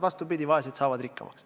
Vastupidi, vaesed saavad rikkamaks.